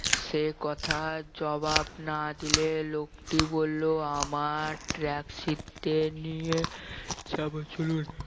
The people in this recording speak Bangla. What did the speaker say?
সে কথার জবাব না দিলে লোকটি বললো আমার taxi তে নিয়ে যাবো চলুন